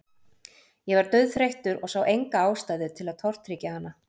Ég var dauðþreyttur og sá enga ástæðu til að tortryggja hana.